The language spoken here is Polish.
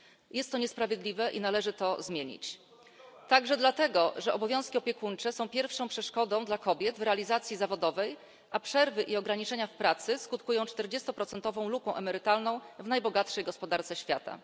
Jest to niesprawiedliwe i należy to zmienić także dlatego, że obowiązki opiekuńcze są pierwszą przeszkodą dla kobiet w realizacji zawodowej, a przerwy i ograniczenia w pracy skutkują czterdziestoprocentową luką emerytalną w najbogatszej gospodarce świata.